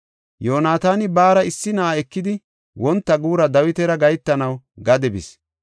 Yoonataani baara issi na7a ekidi wonta guura Dawitara gahetanaw gade bis.